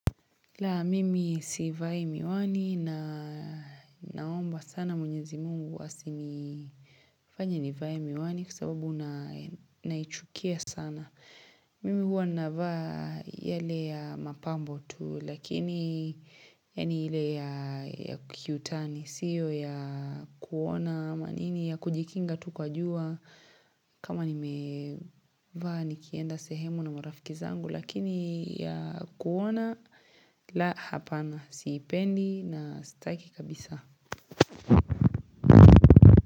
La, mimi sivai miwani na naomba sana mwenyezi Mungu asinifanye nivae miwani kwa sababu naichukia sana. Mimi huwa navaa yale ya mapambo tu, lakini yaani ile ya kiutani. Sio ya kuona ama nini ya kujikinga tu kwa jua kama nimevaa nikienda sehemu na marafiki zangu. Lakini ya kuona la hapana siipendi na sitaki kabisa.